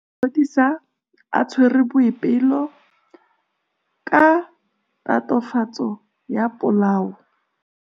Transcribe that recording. Maphodisa a tshwere Boipelo ka tatofatsô ya polaô.